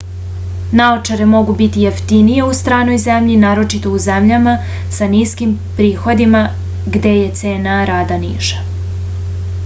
naočare mogu biti jeftinije u stranoj zemlji naročito u zemljama sa niskim prihodima gde je cena rada niža